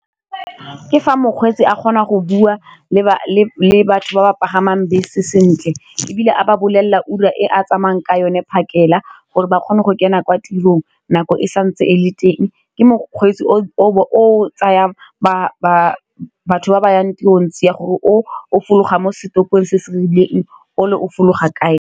Ke fa mokgweetsi a kgona go bua le batho ba ba pagamang bese sentle, e bile a ba bolelela ura e a tsamayang ka yone phakela gore ba kgone go kena kwa tirong nako e santse e le teng, ke mokgweetsi o tsayang batho ba ba yang teng ntse ya gore o fologa mo setorong se se rileng o le o fologa kae.